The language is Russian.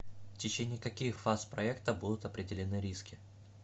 в течение каких фаз проекта будут определены риски